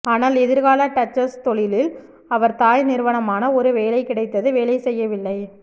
ஆனால் எதிர்கால டச்சஸ் தொழிலில் அவர் தாய் நிறுவனமான ஒரு வேலை கிடைத்தது வேலை செய்யவில்லை